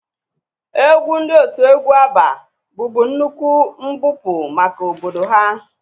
Egwu ndị otu egwu Abba bụbu nnukwu mbupụ maka obodo ha